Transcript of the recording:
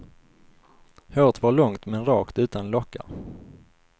Håret var långt men rakt utan lockar.